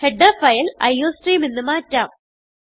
header file iostream എന്ന് മാറ്റാം